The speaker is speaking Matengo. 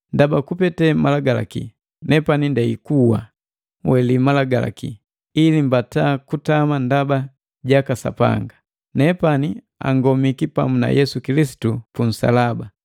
Ndaba kupete malagalaki, nepani ndei kuwa, weli Malagalaki, ili mbata kutama ndaba jaka Sapanga. Nepani angomiki pamu na Yesu Kilisitu punsalaba,